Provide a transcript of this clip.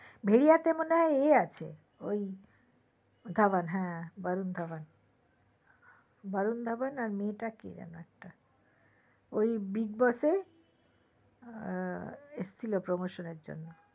ভেড়িয়াতে মনে হয় এই আছে ধাওয়ান হ্যা বারুন ধাওয়ান বারুন ধাওয়ান আর মেয়েটা কে যেন একটা ওই bigboss এ এসেছিলো promotion এর জন্য